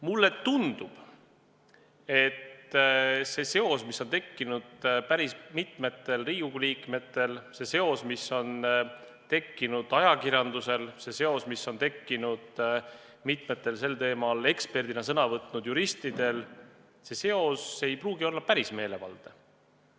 Mulle tundub, et see seos, mis on tekkinud päris mitmel Riigikogu liikmel, see seos, mis on tekkinud ajakirjandusel, see seos, mis on tekkinud mitmel sel teemal eksperdina sõna võtnud juristil – see seos ei pruugi olla päris meelevaldne.